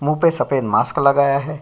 मुंह पे सफेद मास्क लगाया है।